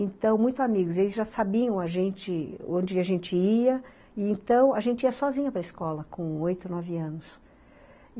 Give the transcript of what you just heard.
Então, muitos amigos, eles já sabiam, a gente, onde a gente ia, e então a gente ia sozinha para a escola com oito, nove anos.